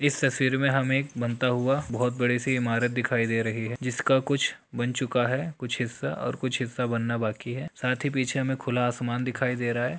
इस तस्वीर में हमें एक बनता हुआ बहोत बड़ी सी इमारत दिखाई दे रही है जिसका कुछ बन चुका है कुछ हिस्सा और कुछ हिस्सा बनना बाकी है साथ ही पीछे हमें खुला आसमान दिखाई दे रहा है।